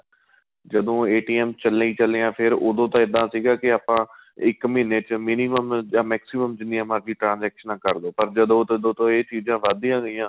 ਜਦੋਂ ਚੱਲੇ ਚੱਲੇ ਹੀ ਏ ਫ਼ੇਰ ਉਹਦੋ ਤੋ ਇਹਦਾ ਸੀਗਾ ਕੇ ਆਪਾਂ ਇੱਕ ਮਹੀਨੇ ਚ minimum ਜਾਂ maximum ਜਿੰਨੀਆਂ ਮਰਜੀ transaction ਕਰਲੋ ਪਰ ਜਦੋਂ ਤੋ ਏਹ ਚੀਜ਼ਾਂ ਵੱਧ ਦੀਆਂ ਗਈਆਂ